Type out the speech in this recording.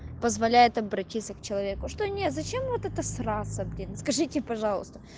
позволяет обратиться к человеку что нет зачем вот это сраться блин скажите это пожалуйста